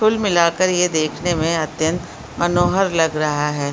कुल मिलाकर ये देखने में अत्यंत मनोहर लग रहा है।